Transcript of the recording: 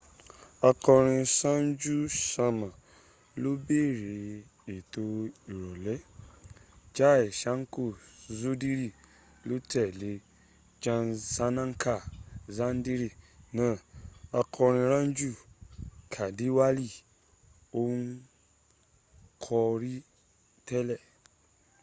akọrin sanju ṣama ló bẹ̀rẹ̀ etò ìrọ̀lẹ́ jai ṣanka ṣudiri ló tẹ́lẹ̀ jai sanaka sandiri naa akọrin raju kandiwali n kọri tẹ́lẹ̀